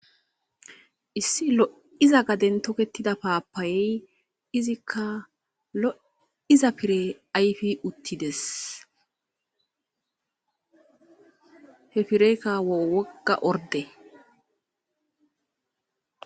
issi lo7iza gaden toketida paapayey izikka loiza pire ayfi uttides he pireykka woga orde